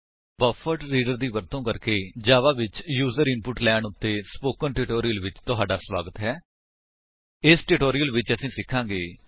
buffered reader ਦੀ ਵਰਤੋ ਕਰਕੇ ਜਾਵਾ ਵਿੱਚ ਯੂਜ਼ਰ ਇਨਪੁਟ ਲੈਣ ਉੱਤੇ ਸਪੋਕਨ ਟਿਊਟੋਰਿਅਲ ਵਿੱਚ ਤੁਹਾਡਾ ਸਵਾਗਤ ਹੈ ਇਸ ਟਿਊਟੋਰਿਅਲ ਵਿੱਚ ਅਸੀ ਸਿਖਾਂਗੇ